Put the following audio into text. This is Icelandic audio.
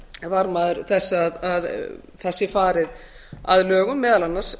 varðmaður þess að það sé farið að lögum meðal annars